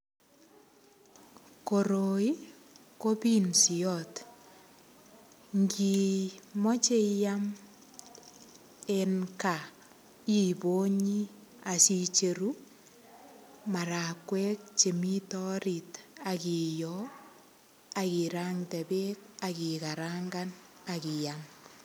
Koroi ko pinsiot. Ngiimoche iam eng kaa, iponyi ak icheru marakwek che orit ak iyo ak irande beek ak ikarangan ak iam.